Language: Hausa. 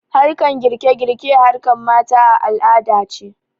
Harkan girke girke harkan mata a al'adance